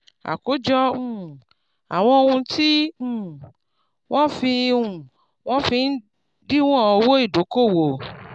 àkójọ um àwọn ohun tí um wọ́n fi um wọ́n fi ń díwọ̀n owó ìdókòwò.